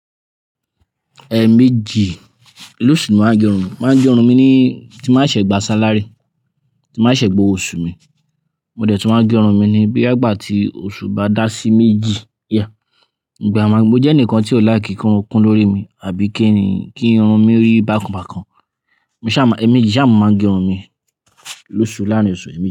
Eeméjì, loṣù ni mo máa ń gé irun mi. Mo máa ń gé irun mi ni tí nba ṣe gbà sálary, tí nba ṣe gbówo oṣù mi, mo dẹ̀ tún máa ń gé irun mi ni boya igbà tí oṣù bá dá sí méjì. Yeah. Gba mo jẹ́ ẹnìkan tí ó like ki irun ó kún lórí mi àbí kí irun mi ri bákan bákan. Mo saá máa, meeéjì ṣá mo máa ń gé irun mi loṣù, láarin oṣù émii.